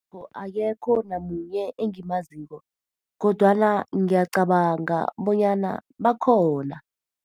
Akekho namunye engimaziko, kodwana ngiyacabanga bonyana bakhona.